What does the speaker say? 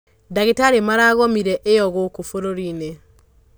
ndagītarī maragomire iyo gūkū būrūri-inī.